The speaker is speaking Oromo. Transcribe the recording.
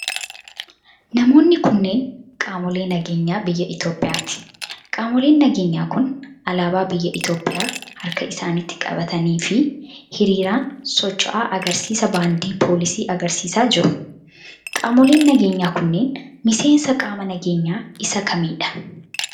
Namoonni kunneen ,qaamolee nageenyaa biyya Itoophiyaati. Qaamoleen nageenyaa kun, alaabaa biyya Itoophiyaa harka isaanitti qabatanii fi hiriiraan socho'aa agarsiisa baandii poolisii agarsiisaa jiru. Qaamoleen nageenyaa kunneen, miseensa qaama nageenyaa isa kamii dha?